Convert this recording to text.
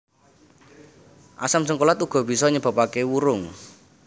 Asam jéngkolat uga bisa nyebabaké wurung